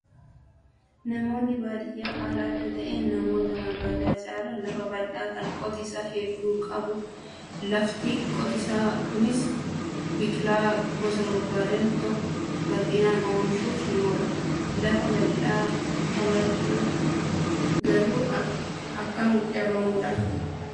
Namoonni baadiyyaa haala adda ta'een namoota magaalaa caalaa lafa bal'aa kan qotiisaa hedduu qabu. Lafti qotiisaa Kunis biqilaa gosa barbaadan tokko bal'inaan oomishuuf ni oola. Lafa bal'aa qabaachuun garuu akkam carroomuudha